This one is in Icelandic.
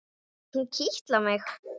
Hún kitlar mig!